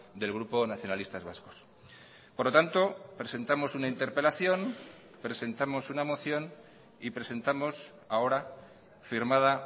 del grupo nacionalistas vascos por lo tanto presentamos una interpelación presentamos una moción y presentamos ahora firmada